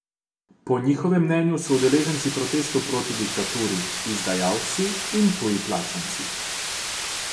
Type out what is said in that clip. Po njihovem mnenju so udeleženci protestov proti diktaturi izdajalci in tuji plačanci.